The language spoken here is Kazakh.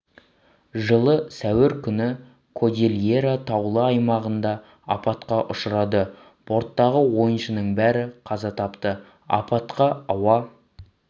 жылы сәуір күні кодильера таулы аймағында апатқа ұшырады борттағы ойыншының бәрі қаза тапты апатқа ауа